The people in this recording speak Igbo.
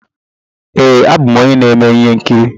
Ee, abụ m onye na-eme ihe nkiri.